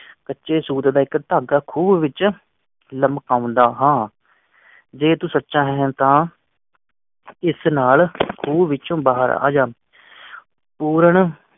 ਸੱਚੇ ਸੌਦੇ ਦਾ ਇੱਕ ਢੰਗ ਖੂਹ ਵਿੱਚ ਲਮਕ ਆਉਂਦਾ ਹਾਂ ਜੇ ਤੂੰ ਸੱਚਾ ਹੈ ਤਾ ਇਸ ਨਾਲ ਖੂ ਵਿੱਚੋ ਬਾਹਰ ਆ ਜਾ ਪੂਰਨ